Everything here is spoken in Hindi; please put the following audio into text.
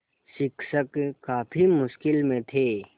शिक्षक काफ़ी मुश्किल में थे